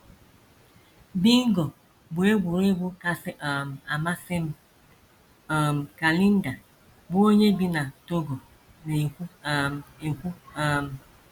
“ Bingo bụ egwuregwu kasị um amasị m, ” um ka Linda, bụ́ onye bi n’Togona - ekwu um. ekwu um.